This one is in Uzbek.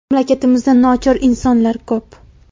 Mamlakatimizda nochor insonlar ko‘p.